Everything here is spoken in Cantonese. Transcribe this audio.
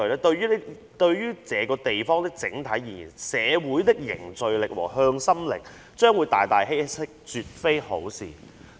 對於這個地方的整體而言，社會的凝聚力和向心力將會大大稀釋，絕非好事。